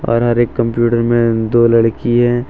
हर हर एक कंप्यूटर में दो लड़किये--